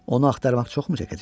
Onu axtarmaq çoxmu çəkəcək?